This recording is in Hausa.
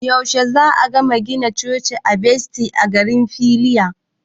Yaushe za'a gama gina Cocin Baftis a garin Filiya?